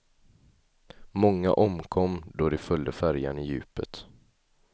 Många omkom då de följde färjan i djupet.